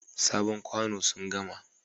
Sabon kwano sun gama.